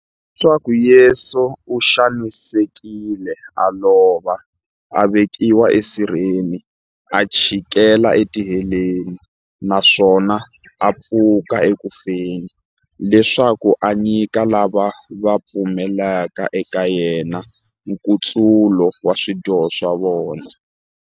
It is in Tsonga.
Leswaku Yesu u xanisekile, a lova, a vekiwa esirheni, a chikela etiheleni, naswona a pfuka eku feni, leswaku a nyika lava va pfumelaka eka yena, nkutsulo wa swidyoho swa vona.